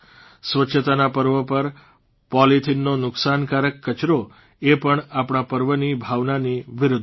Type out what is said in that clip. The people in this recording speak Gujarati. સ્વચ્છતાના પર્વો પર પોલીથીનનો નુકસાનકારક કચરો એ પણ આપણા પર્વોની ભાવનાની વિરૂદ્ધ છે